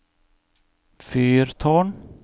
fyrtårn